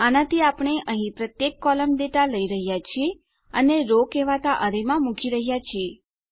આનાથી આપણે અહીં પ્રત્યેક કોલમ ડેટા લઇ રહ્યા છીએ અને રો કહેવાતા અરે માં મૂકી રહ્યા છીએ